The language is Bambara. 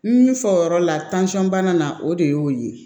Min fɔyɔrɔ la bana na o de y'o ye